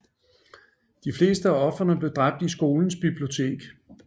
De fleste af ofrene blev dræbt i skolens bibliotek